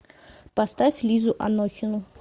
поставь лизу анохину